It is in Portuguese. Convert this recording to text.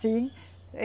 Sim.